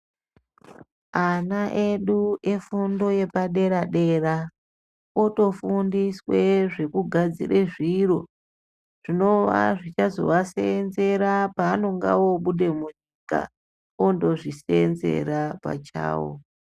Ana edu efundo yepadera-dera otofundiswe zvekugadzire zviro zvinove zvichazovaseenzera pevanonga voobuda munyika ondozviseenzera pachavo.